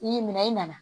I y'i minɛ i nana